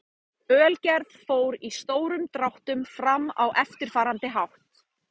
Ölgerð fór í stórum dráttum fram á eftirfarandi hátt.